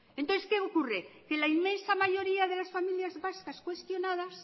entonces qué ocurre que la inmensa mayoría de las familias vascas cuestionadas